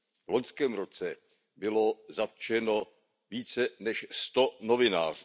V loňském roce bylo zatčeno více než sto novinářů.